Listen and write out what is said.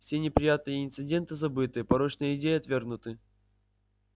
все неприятные инциденты забыты порочные идеи отвергнуты